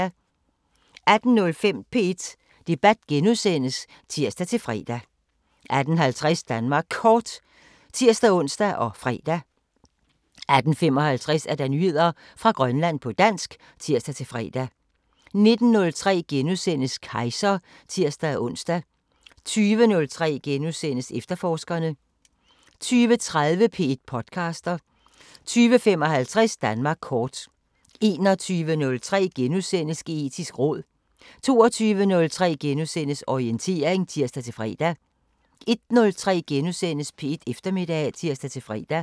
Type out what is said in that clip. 18:05: P1 Debat *(tir-fre) 18:50: Danmark Kort (tir-ons og fre) 18:55: Nyheder fra Grønland på dansk (tir-fre) 19:03: Kejser *(tir-ons) 20:03: Efterforskerne * 20:30: P1 podcaster 20:55: Danmark kort 21:03: Geetisk råd * 22:03: Orientering *(tir-fre) 01:03: P1 Eftermiddag *(tir-fre)